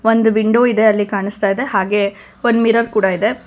ಒಂದು ವಿಂಡೋ ಇದೆ ಅಲ್ಲಿ ಕಾಣಿಸ್ತಾ ಇದೆ ಹಾಗೆ ಒಂದು ಮಿರರ್ ಕೂಡ ಇದೆ.